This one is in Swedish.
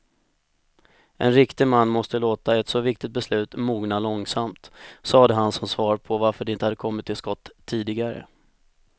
En riktig man måste låta ett så viktigt beslut mogna långsamt, sade han som svar på varför de inte kommit till skott tidigare.